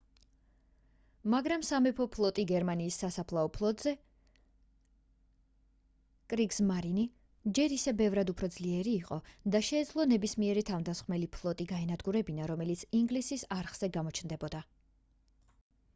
მაგრამ სამეფო ფლოტი გერმანიის საზღვაო ფლოტზე კრიგსმარინი ჯერ ისევ ბევრად უფრო ძლიერი იყო და შეეძლო ნებისმიერი თავდამსხმელი ფლოტი გაენადგურებინა რომელიც ინგლისის არხზე გამოჩნდებოდა